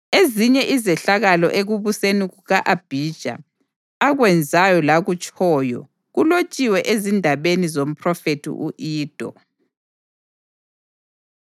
Ezinye izehlakalo ekubuseni kuka-Abhija, akwenzayo lakutshoyo, kulotshiwe ezindabeni zomphrofethi u-Ido.